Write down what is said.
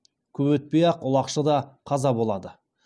көп өтпей ақ ұлақшы да қаза болады